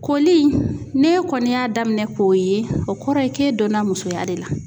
Koli n'e kɔni y'a daminɛ k'o ye o kɔrɔ ye k'e donna musoya de la.